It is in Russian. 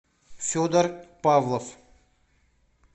федор павлов